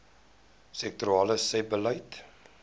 sektorale sebbeleid